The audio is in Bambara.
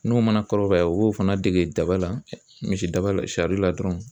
N'u mana kɔrɔbaya u b'o fana dege daba la misi daba la sariya la dɔrɔn